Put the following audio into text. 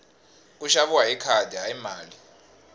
ku xaviwa hi khadi hayi mali